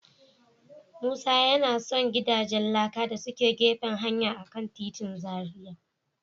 Musa yana son gidajen laka da suke gefen hanya a kan titin Zaria.